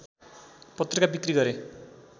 पत्रिका बिक्री गरे